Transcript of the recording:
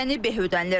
Yəni beh ödənilir.